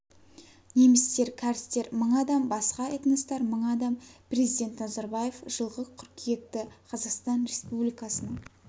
немістер кәрістер мың адам басқа этностар мың адам президент назарбаев жылғы қыркүйекті қазақстан республикасының